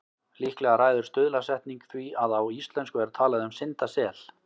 Líklega ræður stuðlasetning því að á íslensku er talað um syndasel.